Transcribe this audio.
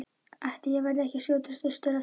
Ætli ég verði ekki að skjótast austur aftur.